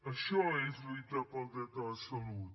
això és lluitar pel dret a la salut